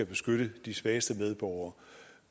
beskytte de svageste medborgere